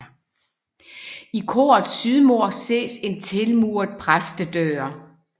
I korets sydmur ses en tilmuret præstedør